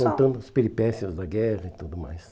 só... Contando as peripécias da guerra e tudo mais.